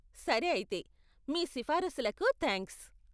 సరే అయితే, మీ సిఫారసులకు థాంక్స్.